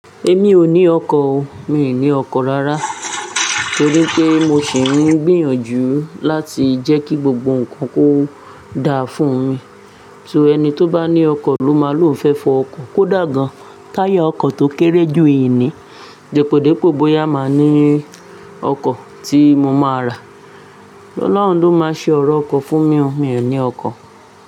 Èmi ò ní ọkọ̀ o, mi ò ní ọkọ̀ rárá torí pé mo sì ń gbìyànjú láti jẹ́ kí gbogbo nǹkan kó dáa fún mi. So ẹni tó bá ní ọkọ̀ ló máa lò fẹ́ fọ ọkọ̀. Kó dà gan-an táyà ọkọ̀ tó kéré jù n ni, dípòdípò bóyá a máa ní ọkọ̀ tí mo máa rà. Ọlọ́run ló máa ṣe ọ̀rọ̀ ọkọ̀ fún mi o, mi ò ní ọkọ̀